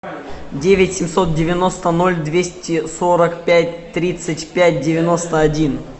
девять семьсот девяносто ноль двести сорок пять тридцать пять девяносто один